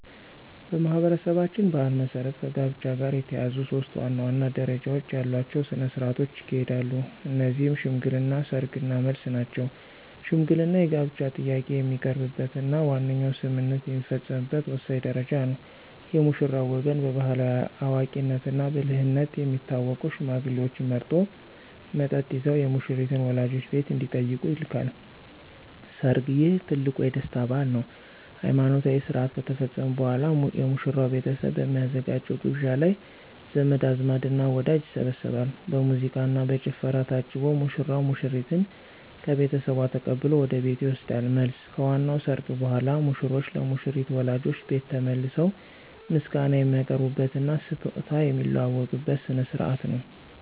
በማኅበረሰባችን ባሕል መሠረት ከጋብቻ ጋር የተያያዙ ሦስት ዋና ዋና ደረጃዎች ያሏቸው ሥነ ሥርዓቶች ይካሄዳሉ። እነዚህም ሽምግልና፣ ሰርግ እና መልስ ናቸው። ሽምግልና የጋብቻ ጥያቄ የሚቀርብበትና ዋነኛው ስምምነት የሚፈጸምበት ወሳኝ ደረጃ ነው። የሙሽራው ወገን በባሕላዊ አዋቂነትና ብልህነት የሚታወቁ ሽማግሌዎችን መርጦ፣ መጠጥ ይዘው የሙሽሪትን ወላጆች ቤት እንዲጠይቁ ይልካል። ሰርግ: ይህ ትልቁ የደስታ በዓል ነው። ሃይማኖታዊ ሥርዓት ከተፈጸመ በኋላ፣ የሙሽራው ቤተሰብ በሚያዘጋጀው ግብዣ ላይ ዘመድ አዝማድና ወዳጅ ይሰባሰባል። በሙዚቃና በጭፈራ ታጅቦ ሙሽራው ሙሽሪትን ከቤተሰቧ ተቀብሎ ወደ ቤቱ ይወስዳል። መልስ: ከዋናው ሰርግ በኋላ፣ ሙሽሮች ለሙሽሪት ወላጆች ቤት ተመልሰው ምስጋና የሚያቀርቡበትና ስጦታ የሚለዋወጡበት ሥነ ሥርዓት ነው።